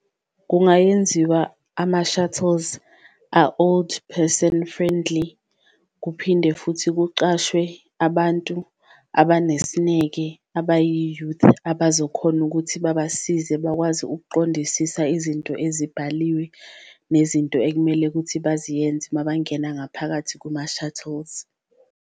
Kungayenziwa ama-shuttles a-old person friendly, kuphinde futhi kucashwe abantu abanesineke abayi-youth, abazokhona ukuthi babasize bakwazi ukuqondisisa izinto ezibhaliwe. Nezinto ekumele kuthi baziyenze mabangena ngaphakathi kuma-shuttles.